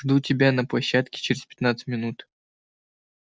жду тебя на площадке через пятнадцать минут